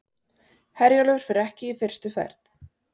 Herjólfur fer ekki fyrstu ferð